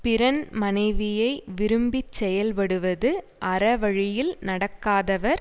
பிறன் மனைவியை விரும்பிச் செயல்படுவது அறவழியில் நடக்காதவர்